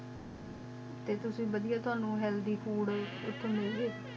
T ਤੋਸੀ ਬਦ੍ਯਾਯ ਤ ਹਾਣੁ ਹੇਆਲ੍ਥ੍ਯ ਫੂਡ ਏਥੁ ਮਿਲਦੀ ਨੀ